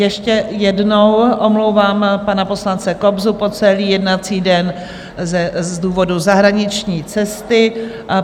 Ještě jednou omlouvám pana poslance Kobzu po celý jednací den z důvodu zahraniční cesty.